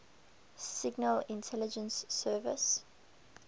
signal intelligence service